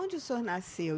Onde o senhor nasceu?